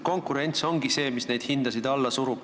Konkurents ongi see, mis hinnad alla surub.